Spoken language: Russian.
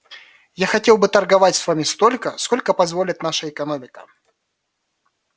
я хотел бы торговать с вами столько сколько позволит наша экономика